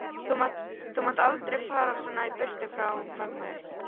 Þú mátt aldrei fara svona í burtu frá mömmu.